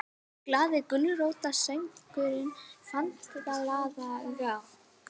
GLAÐI GULRÓTARSÖNGURINNFANDALAGGAHOJ